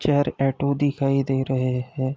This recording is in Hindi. चेर एटू दिखाई दे रहे हैं।